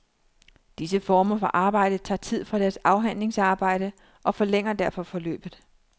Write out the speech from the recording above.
Disse former for arbejde tager tid fra deres afhandlingsarbejde, og forlænger derfor forløbet.